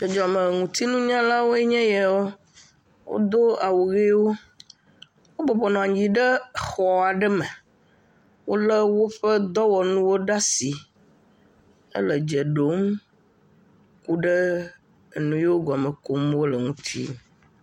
Dzɔdzɔme ŋuti nunyalawoe nye yawo, wodo awu ʋewo, wobɔbɔ nɔ anyi ɖe exɔa ɖe me, wolé woƒe dɔwɔnuwo ɖe asi hele dze ɖom ku ɖe enu yewo gɔme kum wole ŋuti.